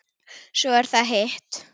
Svo er það hitt.